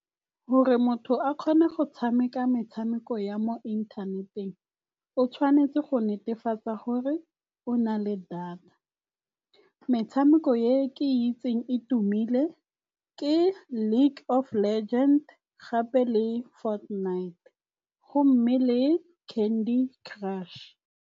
Gore motho a kgone go tshameka metshameko ya mo inthaneteng o tshwanetse go netefatsa gore o na le data. Metshameko ye ke itseng e tumile ke Lake of Legend gape le Fortnite gomme le Candy Crush.